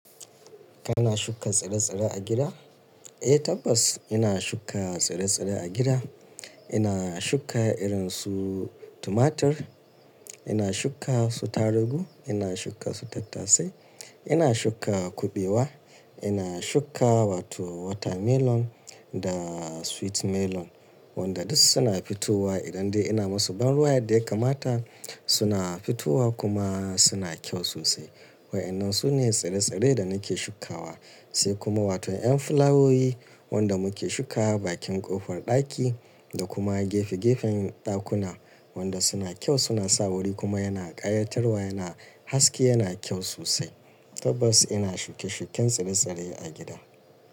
Kana shuka tsire-tsire a gida? Eh tabbas ina shuka tsire-tsire a gida. Ina shuka irin su tumatir, ina shuka su atargu, ina shuka su tattasai, ina shuka kuɓewa, ina shuka wato watermelon da sweet melon wanda duk suna fitowa idan dai ina masu ban ruwa yadda ya kamata suna fitowa kuma suna kyau sosai. Wa'anan su ne tsire-tsire da nake shukawa. Sai kuma wato yan fulawowi wanda muke shuka bakin ƙofar ɗaki da kuma gefe-gefen ɗakuna wanda suna kyau suna sa wuri kuma yana ƙayatarwa yana haske yana kyau sosai. Tabbas ina shuke-shuken tsire-tsire a gida.